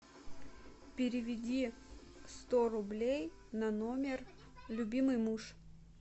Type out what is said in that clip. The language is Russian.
переведи сто рублей на номер любимый муж